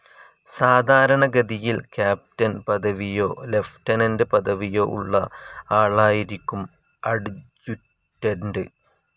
സാധാരണഗതിയിൽ ക്യാപ്റ്റൻ പദവിയോ ലെഫ്റ്റനന്റ് പദവിയോ ഉള്ള ആളായിരിക്കും അഡ്ജുറ്റന്റ്.